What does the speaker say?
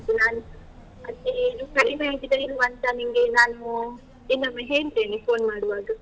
ಆಯ್ತು ನಾನು ಅದೇ ಇದು ಕಡಿಮೆ ಆಗಿದಾ ಇಲ್ವಾ ಅಂತ ನಿನ್ಗೆ ನಾನು ಇನ್ನೊಮ್ಮೆ ಹೇಳ್ತೇನೆ phone ಮಾಡುವಾಗ.